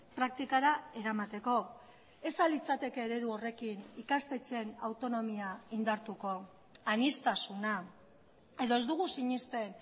praktikara eramateko ez ahal litzateke eredu horrekin ikastetxeen autonomia indartuko aniztasuna edo ez dugu sinesten